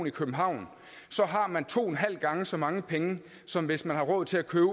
i københavn har man to og en halv gange så mange penge som hvis man har råd til at købe